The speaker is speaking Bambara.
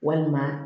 Walima